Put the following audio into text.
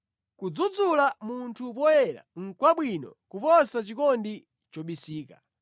Kudzudzula munthu poyera nʼkwabwino kuposa chikondi chobisika.